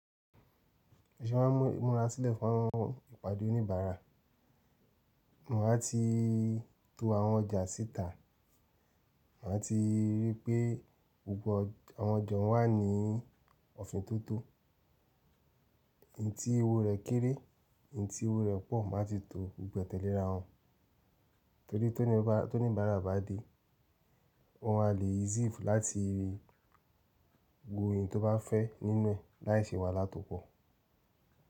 Bi mo ṣẹ máa ń múra sílẹ̀ fún ìpàdé oníbàárà. Máa tí to àwọn ọjà síta, má tí rí pé gbogbo àwọn ọjà wà ní òfintótó. Ntí owó rẹ̀ kéré, ntí owó rẹ̀ pọ̀ máa ti to gbogbo e tẹ́lẹ̀ arà wọn. Torí tí oníbàárà bá dé, ọ maá le easy láti wo èyí tó bá fẹ́ nínú ẹ̀ láìṣi wàhálà tó pọ̀.